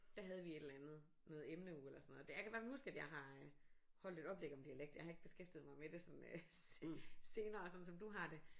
Der havde vi et eller andet noget emneuge eller sådan noget der jeg kan i hvert fald huske jeg har holdt et oplæg om dialekt jeg har ikke beskæftiget mig med det sådan øh senere sådan som du har det